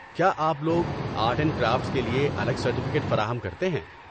کیا آپ لوگ آرٹ اینڈ کرافٹس کے لیے الگ سرٹیفکیٹ فراہم کرتے ہیں؟